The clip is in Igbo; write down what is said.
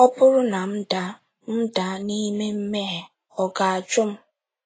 Ọ bụrụ na m daa m daa n'ime mmehie, Ọ ga-ajụ m?